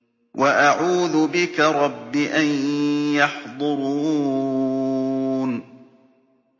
وَأَعُوذُ بِكَ رَبِّ أَن يَحْضُرُونِ